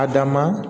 A dan ma